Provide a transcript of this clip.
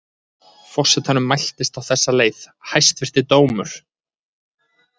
Forsetanum mæltist á þessa leið: Hæstvirti dómur!